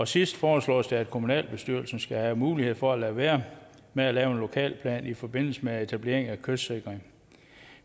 sidste foreslås det at kommunalbestyrelsen skal have mulighed for at lade være med at lave en lokalplan i forbindelse med etablering af kystsikring